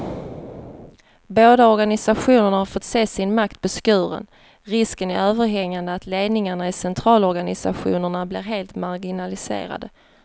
Båda organisationerna har fått se sin makt beskuren, risken är överhängande att ledningarna i centralorganisationerna blir helt marginaliserade.